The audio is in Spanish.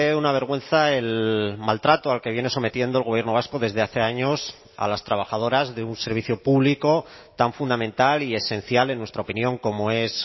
una vergüenza el maltrato al que viene sometiendo el gobierno vasco desde hace años a las trabajadoras de un servicio público tan fundamental y esencial en nuestra opinión como es